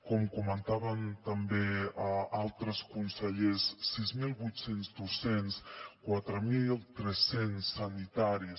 com comentaven també altres consellers sis mil vuit cents docents quatre mil tres cents sanitaris